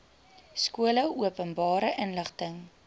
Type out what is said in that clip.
skole openbare inligting